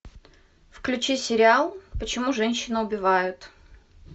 включи сериал почему женщины убивают